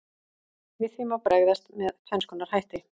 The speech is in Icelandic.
Við því má bregðast með tvenns konar hætti.